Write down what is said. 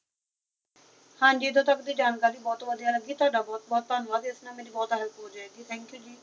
ਹਾਂਜੀ ਇਥੋਂ ਤੱਕ ਦੀ ਜਾਣਕਾਰੀ ਬਹੁਤ ਵਦਿਹਾ ਲਗੀ ਤੁਹਾਡਾ ਬਹੁਤ ਬਹੁਤ ਧੰਨਵਾਦ ਇਸ ਨਾਲ ਮੇਰੀ ਬਹੁਤ help ਹੋ ਜਾਏ ਗਈ thank you